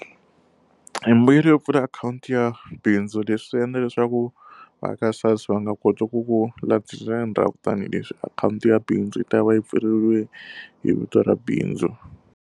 Embuyelo yo pfula akhawunti ya bindzu leswi endla leswaku va aka SARS va nga koti ku ku landzelela ndhavuko tanihileswi akhawunti ya bindzu yi ta va yi pfuriwile hi vito ra bindzu.